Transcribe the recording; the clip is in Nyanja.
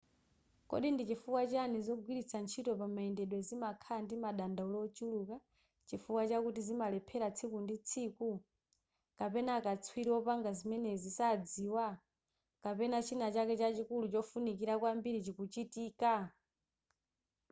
kodi ndi chifukwa chiyani zogwiritsa ntchito pamayendedwe zimakhala ndi madandaulo ochuluka chifukwa chiyani zimalephera tsiku ndi tsiku kapena akatswiri opanga zimenezi sadziwa kapena china chake chachikulu chofunikira kwambiri chikuchitika